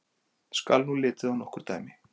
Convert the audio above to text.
Skal nú litið á nokkur dæmi.